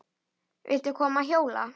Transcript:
Viltu koma að hjóla?